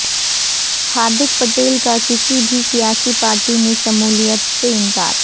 ہاردک پٹیل کا کسی بھی سیاسی پارٹی میں شمولیت سے انکار